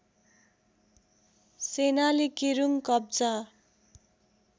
सेनाले केरूङ कब्जा